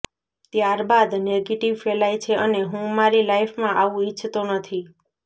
ત્યારબાદ નેગેટિવ ફેલાય છે અને હું મારી લાઇફમાં આવું ઇચ્છતો નથી